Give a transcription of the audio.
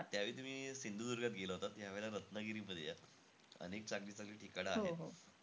त्यावेळी तुम्ही सिंधुदुर्गात गेला होतात. यावेळी रत्नागिरीमध्ये या. अनेक चांगली-चांगली ठिकाणं आहे .